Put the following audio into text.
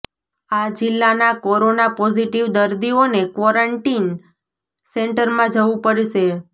આ જિલ્લાના corona positive દર્દીઓને ક્વોરન્ટીન સેન્ટરમાં જવું પડશે